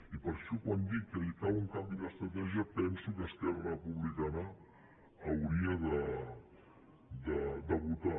i per això quan dic que cal un canvi d’estratègia penso que esquerra republicana hauria de votar